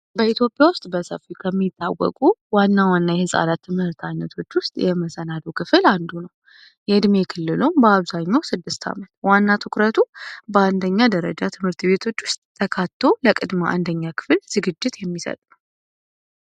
በኢትዮጵያ ውስጥ በሰፊ ከሚታወቁ ዋና ዋና የህፃናት ትምህርት አይነቶች ውስጥ የመሰናዶ ክፍል አንዱ ነው። የዕድሜ የክልሉም በአብዛኛው ስድስት ዓመት ዋና ትኩረቱ በአንደኛ ደረጃ ትምህርትቤቶች ውስጥ ተካቶ ለቅድመ አንደኛ ክፍል ዝግጅት የሚሰጥ ነው።